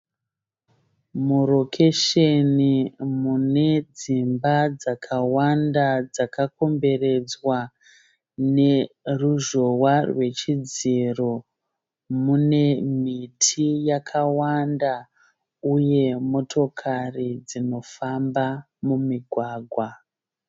Murokesheni munedzimba dzakawanda dzakakomberedzwa neruzhowa rwechidziro. Mune miti yakawanda uye motokari dzinofamba mumigwagwa.